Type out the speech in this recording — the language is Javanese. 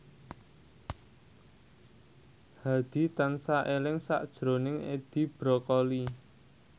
Hadi tansah eling sakjroning Edi Brokoli